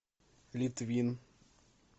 литвин